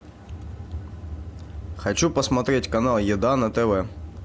хочу посмотреть канал еда на тв